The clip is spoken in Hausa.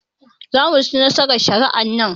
Zamuci nasarar shari'ar nan